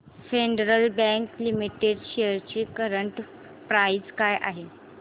federal Bank Limited shares ची current price काय आहे